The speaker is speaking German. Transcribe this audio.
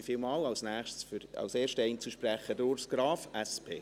Nun als erster Einzelsprecher, Urs Graf, SP.